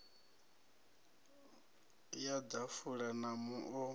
ya ḓafula ya mu o